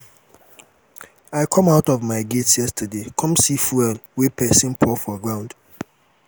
i come out for my gate yesterday come see fuel wey person pour for ground